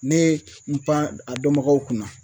Ne ye n pan a dɔnbagaw kunna